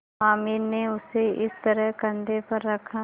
हामिद ने उसे इस तरह कंधे पर रखा